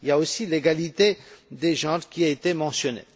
Il y a aussi l'égalité des genres qui a été mentionnée.